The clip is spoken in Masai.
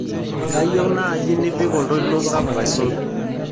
kaayieu naaji nipik oltoilo sapuk aisul